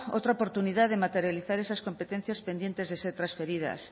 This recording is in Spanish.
otra oportunidad de materializar esas competencias pendientes de ser trasferidas